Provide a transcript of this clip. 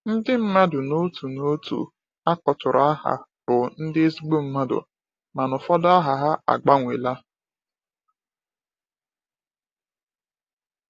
Ndị mmadụ n'otu n'otu a kpọtụrụ aha bụ ndị ezigbo mmadụ, mana ụfọdụ aha agbanweela.